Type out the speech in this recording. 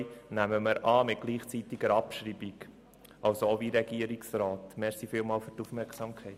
Die Ziffer 2 nehmen wir an bei gleichzeitiger Abschreibung, das heisst ebenfalls gemäss dem Antrag des Regierungsrats.